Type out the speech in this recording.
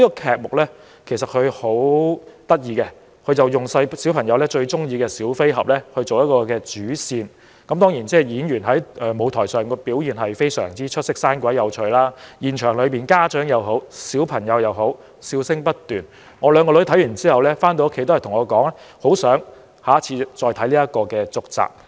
這齣音樂劇的劇目十分有趣，以小孩最喜歡的小飛俠作為主線，當然演員在舞台上的表現也十分出色，生動有趣，現場不論是家長和孩子都笑聲不斷，我的兩名女兒看完後回家告訴我，很希望下次能夠看到音樂劇的續集。